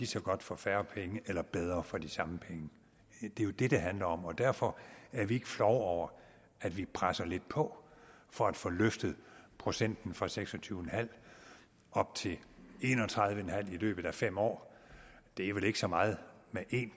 så godt for færre penge eller bedre for de samme penge det er jo det det handler om om derfor er vi ikke flove over at vi presser lidt på for at få løftet procenten fra seks og tyve til en og tredive i løbet af fem år det er vel ikke så meget med en